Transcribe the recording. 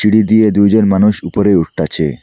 এদিকে দুইজন মানুষ উপরে উঠতাছে।